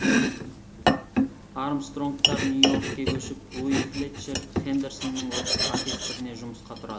армстронгтар нью йоркке көшіп луи флетчер хендерсонның оркестріне жұмысқа тұрады